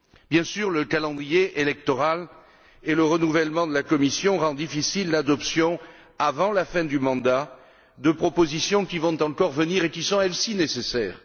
Bien sûr, le calendrier électoral et le renouvellement de la Commission rendent difficile l'adoption, avant la fin du mandat, de propositions qui vont encore venir et qui sont, elles, si nécessaires.